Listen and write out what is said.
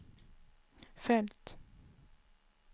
följt